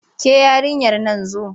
Ke yarinyar nan zo!